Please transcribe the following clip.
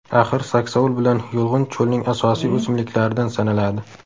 Axir, saksovul bilan yulg‘un cho‘lning asosiy o‘simliklaridan sanaladi.